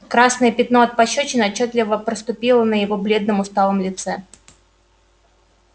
красное пятно от пощёчины отчётливо проступило на его бледном усталом лице